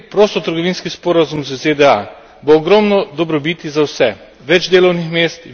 Če bomo sprejeli prostotrgovinski sporazum z ZDA, bo ogromno dobrobiti za vse.